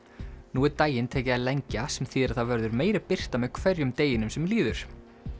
nú er daginn tekið að lengja sem þýðir að það verður meiri birta með hverjum deginum sem líður